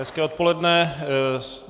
Hezké odpoledne.